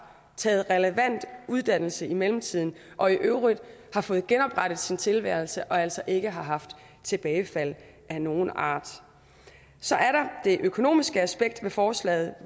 har taget relevant uddannelse i mellemtiden og i øvrigt har fået genoprettet sin tilværelse og altså ikke har haft tilbagefald af nogen art så er der det økonomiske aspekt ved forslaget